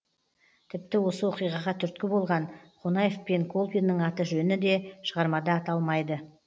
тіпті осы оқиғаға түрткі болған қонаев пен колбиннің аты жөні де шығармада аталмайды